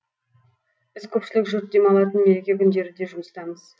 біз көпшілік жұрт демалатын мереке күндері де жұмыстамыз